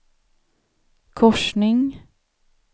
korsning